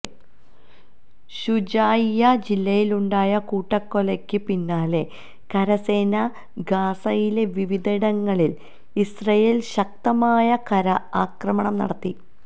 ശുജാഇയ്യ ജില്ലയിലുണ്ടായ കൂട്ടക്കൊലക്ക് പിന്നാലെ കരസേന ഗാസയിലെ വിവിധയിടങ്ങളില് ഇസ്രയേല് ശക്തമായ കര ആക്രമണം നടത്തി